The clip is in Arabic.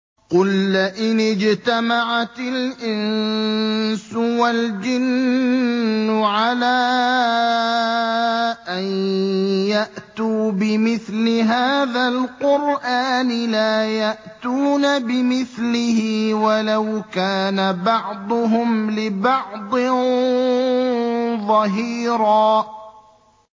قُل لَّئِنِ اجْتَمَعَتِ الْإِنسُ وَالْجِنُّ عَلَىٰ أَن يَأْتُوا بِمِثْلِ هَٰذَا الْقُرْآنِ لَا يَأْتُونَ بِمِثْلِهِ وَلَوْ كَانَ بَعْضُهُمْ لِبَعْضٍ ظَهِيرًا